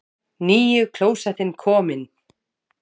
NÝJU KLÓSETTIN KOMIN!